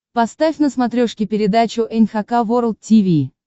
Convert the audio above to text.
поставь на смотрешке передачу эн эйч кей волд ти ви